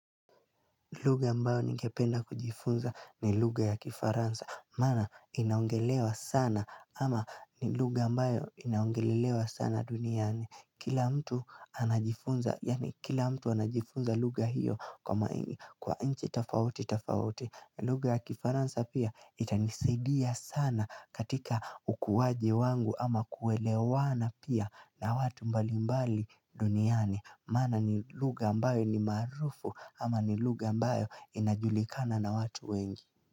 Lugha ambayo ningependa kujifunza ni lugha ya kifaransa Mana inaongelewa sana ama ni lugha ambayo inaongelelewa sana duniani Kila mtu anajifunza yani kila mtu anajifunza lugha hio kwa mai kwa inchi tofauti tofauti lugha ya kifaransa pia itanisaidia sana katika ukuaji wangu ama kuelewana pia na watu mbalimbali duniani Maana ni lugha ambayo ni maarufu ama ni lugha ambayo inajulikana na watu wengi.